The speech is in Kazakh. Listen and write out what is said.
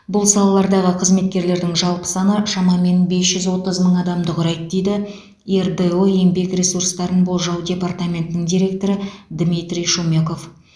бұл салалардағы қызметкерлердің жалпы саны шамамен бес жүз отыз мың адамды құрайды дейді ердо еңбек ресурстарын болжау департаментінің директоры дмитрий шумеков